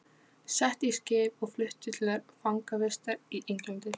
Sett í skip og flutt til fangavistar í Englandi!